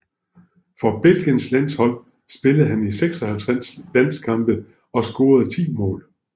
For Belgiens landshold spillede han 56 landskampe og scorede ti mål